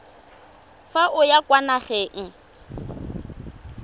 fa o ya kwa nageng